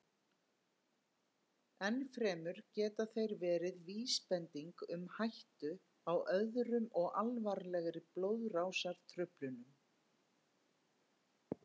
Enn fremur geta þeir verið vísbending um hættu á öðrum og alvarlegri blóðrásartruflunum.